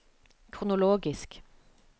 kronologisk